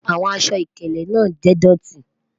Awọn àṣọ-ìkèlè naa jẹ́ ìdọ̀tì